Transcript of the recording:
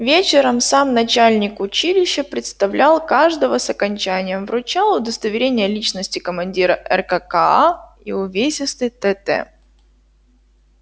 вечером сам начальник училища представлял каждого с окончанием вручал удостоверение личности командира ркка и увесистый тт